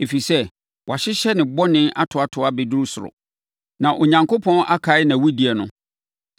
Ɛfiri sɛ, wɔahyehyɛ ne bɔne atoatoa abɛduru soro, na Onyankopɔn akae nʼawudie no.